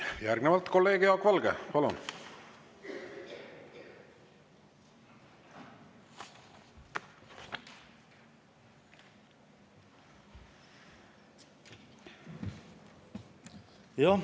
Järgnevalt kolleeg Jaak Valge, palun!